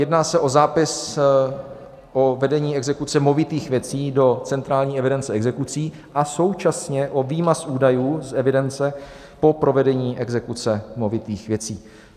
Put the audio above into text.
Jedná se o zápis o vedení exekuce movitých věcí do centrální evidence exekucí a současně o výmaz údajů z evidence po provedení exekuce movitých věcí.